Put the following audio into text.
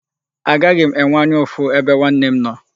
Agaghị m enwe anya ụfụ ebe nwanne m nọ.